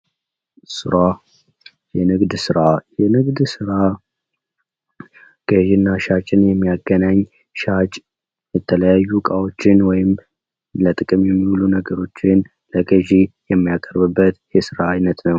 ስራ የንግድ ስራ የንግድ ስራ ገዢ እና ሻጭን የሚያገናኝ ሻጭ የተለያዩ እቃዎችን ወይም ለጥቅም የሚውሉ ነገሮችን ለገዥ የሚያቀርቡበት የስራ አይነት ነው።